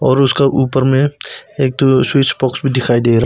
और उसका ऊपर में एक ठो स्विच बॉक्स भी दिखाई दे रहा--